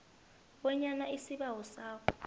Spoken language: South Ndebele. bonyana isibawo sakho